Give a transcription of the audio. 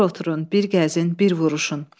Bir oturun, bir gəzin, bir vuruşun.